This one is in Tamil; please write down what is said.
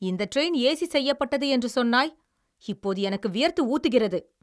இந்த டிரெய்ன் ஏசி செய்யப்பட்டது என்று சொன்னாய், இப்போது எனக்கு வியர்த்து ஊத்துகிறது.